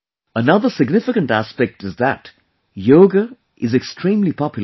Another significant aspect is that Yoga is extremely popular there